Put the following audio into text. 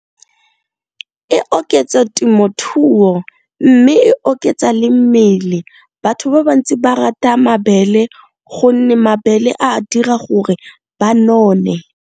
E oketsa temothuo mme e oketsa le mmele batho ba bantsi ba rata mabele gonne mabele a dira gore ba none.